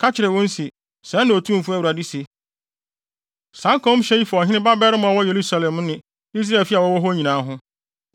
“Ka kyerɛ wɔn se, sɛɛ na Otumfo Awurade se: Saa nkɔmhyɛ yi fa ɔhene babarima a ɔwɔ Yerusalem ne Israelfi a wɔwɔ hɔ nyinaa ho.